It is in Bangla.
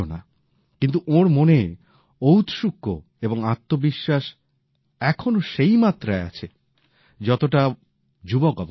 কিন্তু ওঁর মনে ঔৎসুক্য এবং আত্মবিশ্বাস এখনো সেই মাত্রায় আছে যতটা নিজের যুবক অবস্থায় ছিল